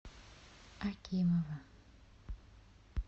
акимова